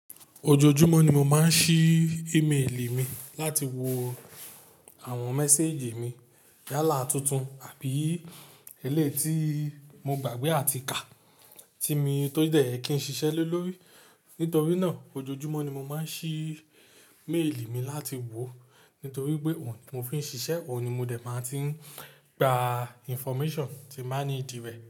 Ojoojúmọ́ ni mo máa ń ṣí ímélì mi láti wo àwọn méséèjì mi. Yálà tuntun àbí ẹlẹ́yi ti mo gbàgbé àti kà tí mi tó dẹ̀ ye kí n ṣiṣẹ́ le lórí. Nítorí náà ojoojúmọ́ ni mo máa ń ṣí méèlì mi láti wòọ, nítorí pé òun mo fi ń ṣiṣẹ́, òun ni mo dẹ̀ máa ti n gba information tí n bà need rẹ̀.